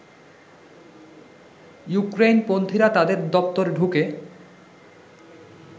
ইউক্রেইনপন্থীরা তাদের দপ্তরে ঢুকে